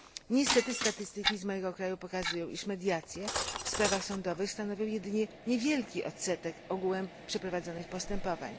Niestety statystyki z mojego kraju pokazują, iż mediacje w sprawach sądowych stanowią jedynie niewielki odsetek ogółem przeprowadzanych postępowań.